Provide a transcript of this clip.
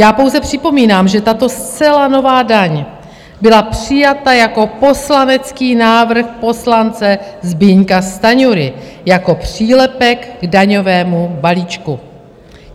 Já pouze připomínám, že tato zcela nová daň byla přijata jako poslanecký návrh poslance Zbyňka Stanjury jako přílepek k daňovému balíčku.